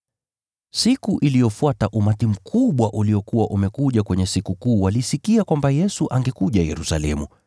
Siku iliyofuata umati mkubwa uliokuwa umekuja kwenye Sikukuu walisikia kwamba Yesu angekuja Yerusalemu.